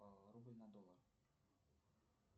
рубль на доллар